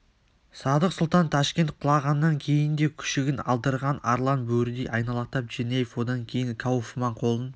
садық сұлтан ташкент құлағаннан кейін де күшігін алдырған арлан бөрідей айналақтап черняев одан кейін кауфман қолын